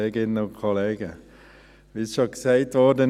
Wie es bereits gesagt wurde: